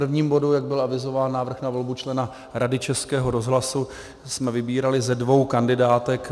V prvním bodu, jak byl avizován, Návrh na volbu člena Rady Českého rozhlasu, jsme vybírali ze dvou kandidátek.